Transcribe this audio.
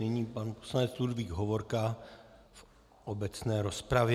Nyní pan poslanec Ludvík Hovorka v obecné rozpravě.